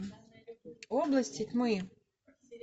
области тьмы